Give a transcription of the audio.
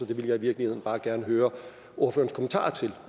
det vil jeg i virkeligheden bare gerne høre ordførerens kommentarer til